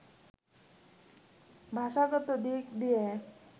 ভাষাগত দিক দিয়ে